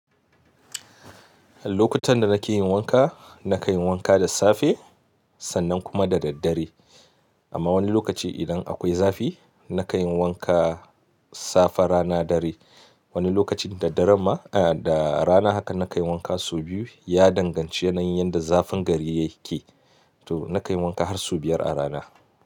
Lokutan da nake yin wanka, na kayi wanka da safe sannan kuma da daddare. Amma wani lokaci idan akwai zafi, na kanyi wanka safe rana dare. Wani lokacin da dare ma a da rana haka na kayi wanka sau biyu. Ya danganci yanayin yadda zafin gari yake. To na kayi wanka har sau biyar a rana.